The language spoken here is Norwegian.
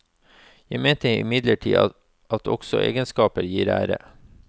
Jeg mener imidlertid at også egenskaper gir ære.